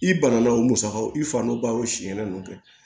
I bana na o musakaw i fa nɔ ba o si kɛnɛ ninnu kɛ